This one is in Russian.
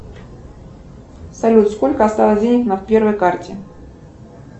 салют сколько осталось денег на первой карте